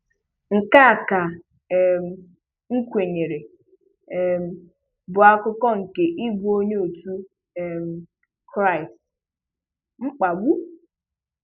Nke a ka um m kwenyere um bụ akụkụ nke ịbụ onye otu um Kristi; mkpagbu.